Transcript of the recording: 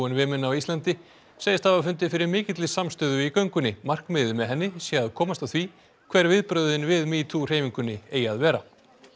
Women á Íslandi segist hafa fundið fyrir mikilli samstöðu í göngunni markmiðið með henni sé að komast að því hver viðbrögðin við metoo hreyfingunni eigi að vera